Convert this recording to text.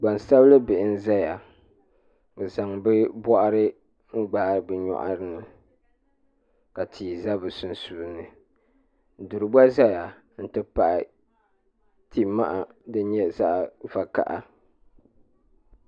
GbansabilIbihi n-zaya ka zaŋ bɛ bɔhiri gbahi bɛ nyɔri ni ka tihi za bɛ sunsuuni duri gba zaya nti pahi ti' maha din nyɛ zaɣ' vakaha